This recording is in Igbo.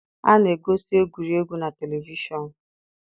A na-egosi egwuregwu na televishọnụ.